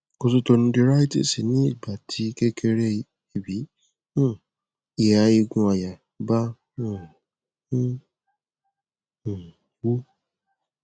kositonudíráítíìsì ni ìgbà tí kèrékèré ibi um ìhà eegun àyà bá um ń um wú